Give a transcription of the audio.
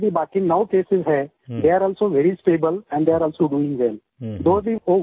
और जो अभी बाकि नौ केसेस हैं they are also very stable and they are also doing well